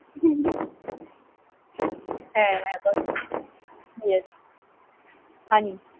হ্যাঁ রে, funny